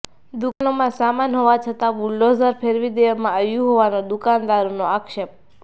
દુકાનોમાં સામાન હોવા છતાં બુલડોઝર ફેરવી દેવામાં આવ્યું હોવાનો દુકાનદારોનો આક્ષેપ